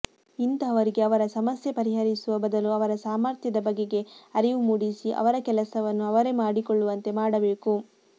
ಇಂತಹವರಿಗೆ ಅವರ ಸಮಸ್ಯೆ ಪರಿಹರಿಸುವ ಬದಲು ಅವರ ಸಾಮರ್ಥ್ಯದ ಬಗೆಗೆ ಅರಿವು ಮೂಡಿಸಿ ಅವರ ಕೆಲಸವನ್ನು ಅವರೇ ಮಾಡಿಕೊಳ್ಳುವಂತೆ ಮಾಡಬೇಕು